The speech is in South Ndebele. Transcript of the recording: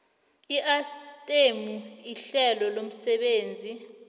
iayithemu ihlelo lomsebenzi